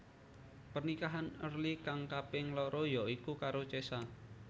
Pernikahan Early kang kaping loro ya iku karo Cesa